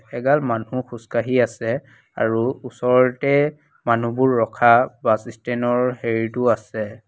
এগাল মানুহ খোজ কাঢ়ি আছে আৰু ওচৰতে মানুহবোৰ ৰখা বাছ ষ্টেনৰ হেৰিটো আছে।